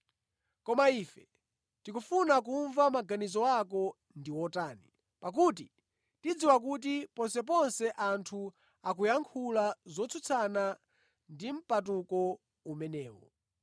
Koma ife tikufuna kumva maganizo ako ndi otani, pakuti tikudziwa kuti ponseponse anthu akuyankhula zotsutsana ndi mpatuko umenewu.”